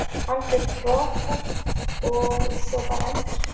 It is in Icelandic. Algjört rothögg og svo bara ENDIR